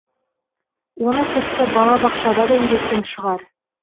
оны тіпті бала бақшада да үйреткен шығар